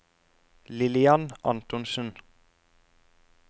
Lillian Antonsen